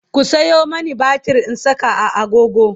ku Sayo mani batir in Saka a agogo